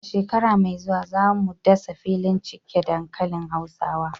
A shekara mai zuwa, za mu dasa filin cike dankalin hausawa.